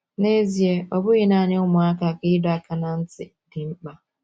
N’ezie, ọ bụghị nanị ụmụaka ka ịdọ aka ná ntị dị mkpa.